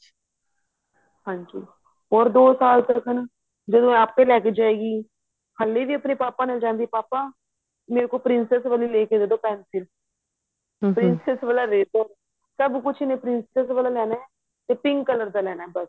ਹਾਂਜੀ ਹੋਰ ਦੋ ਸਾਲ ਤੱਕ ਜਦੋਂ ਇਹ ਆਪੇ ਲੈ ਕੇ ਜਾਏਗੀ ਹਲੇ ਵੀ ਆਪਣੇ ਪਾਪਾ ਨਲ ਜਾਂਦੀ ਹੈ ਪਾਪਾ ਮੇਰੇ ਕੋ princess ਵਾਲੀ ਲੇਕੇ ਦੇਦੋ pencil princess ਵਾਲਾ eraser ਸਬ ਕੁੱਛ ਇਹਨੇ princess ਵਾਲਾ ਲੈਣਾ ਤੇ pink color ਦਾ ਲੈਣਾ ਬਸ